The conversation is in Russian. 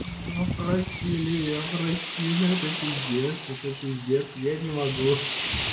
прости лия прости ну это пиздец это пиздец я не могу